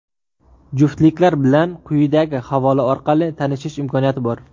Juftliklar bilan quyidagi havola orqali tanishish imkoniyati bor.